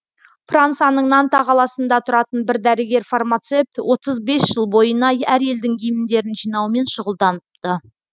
францияның нанта қаласында тұратын бір дәрігер фармацепт отыз бес жыл бойына әр елдің гимндерін жинаумен шұғылданыпты